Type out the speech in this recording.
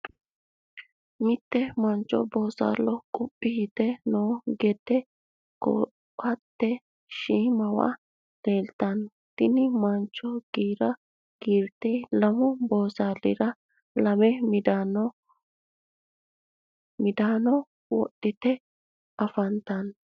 mitte mancho bosaalo quphi yitinoti noo gedde koatese shiimawa leelitano tinni manchono giira gidhite lammu boosalira lamme midaanno woxitte afanitanno.